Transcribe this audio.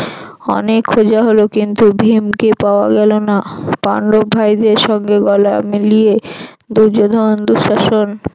অনেক খোঁজা হল কিন্তু ভীমকে পাওয়া গেল না পান্ডব ভাইদের সঙ্গে গলা মিলিয়ে দুর্যোধন দুঃশাসন